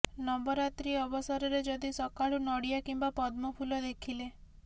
ନବରାତ୍ରୀ ଅବସରରେ ଯଦି ସକାଳୁ ନଡିଆ କିମ୍ବା ପଦ୍ମ ଫୁଲ ଦେଖିଲେ